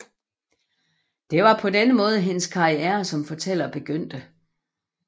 Det var på denne måde hendes karriere som fortæller begyndte